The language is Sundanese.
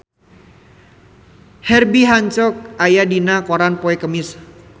Herbie Hancock aya dina koran poe Kemis